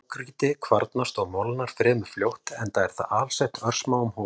Grágrýti kvarnast og molnar fremur fljótt enda er það alsett örsmáum holum.